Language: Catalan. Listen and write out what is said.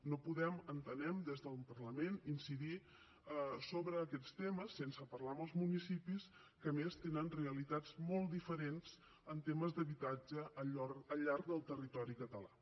no podem entenem des del parlament incidir sobre aquests temes sense parlar amb els municipis que a més tenen realitats molt diferents en temes d’habitatge al llarg del territori català